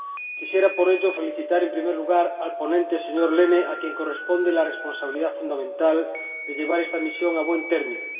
Quisiera, por ello, felicitar, en primer lugar, al ponente, señor Lehne, a quien corresponde la responsabilidad fundamental de llevar esta misión a buen término.